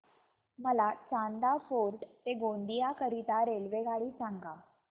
मला चांदा फोर्ट ते गोंदिया करीता रेल्वेगाडी सांगा